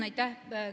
Aitäh!